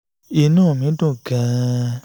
inú mi dùn gan-an